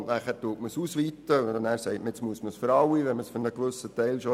Danach wird es ausgeweitet, weil es für alle gelten soll, weil es bereits für einen Teil gilt.